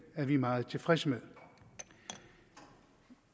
er vi meget tilfredse med